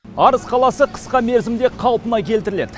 арыс қаласы қысқа мерзімде қалпына келтіріледі